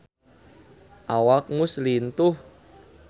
Awak Muse lintuh